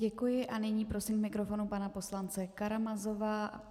Děkuji a nyní prosím k mikrofonu pana poslance Karamazova.